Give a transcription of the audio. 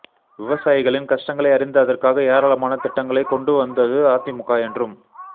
விவசாயிகளின் கஷ்டங்களை அறிந்து அதற்காக ஏராளமான திட்டங்களை கொண்டு வந்தது அதிமுக என்றும்